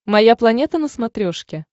моя планета на смотрешке